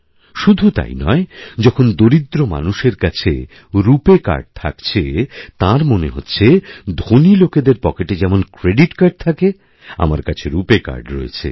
শুধুতাই নয় যখন দরিদ্র মানুষের কাছে রুপে কার্ড থাকছে তাঁর মনেহচ্ছে ধনী লোকেদের পকেটে যেমন ক্রেডিট কার্ড থাকে আমার কাছে রুপেকার্ড রয়েছে